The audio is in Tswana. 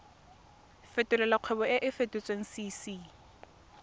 fetolela kgwebo e e kopetswengcc